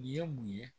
Nin ye mun ye